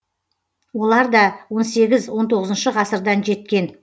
олар да он сегіз он тоғызыншы ғасырдан жеткен